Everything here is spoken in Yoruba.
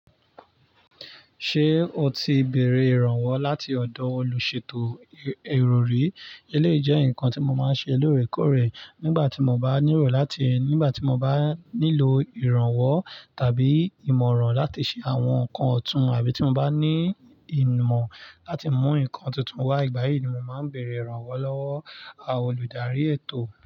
Ṣé o ti béèrè ìrànwọ́ láti ọ̀dọ̀ olùṣètò ìròrí? Eléyìí jẹ́ nǹkan tí mo máa ń ṣe lóòrèkóòrè nígbà tí mo bá nílò láti tí mo bá nílò ìrànwọ́ tàbí ìmọ̀ràn láti ṣe àwọn nǹkan ọ̀tún àbí tí mo bá ní ìmọ̀ láti mú nǹkan tuntun wá. Igbà yìí ni mo máa ń bèèrè ìrànwọ́ lọ́wọ́ olùdarí ètò.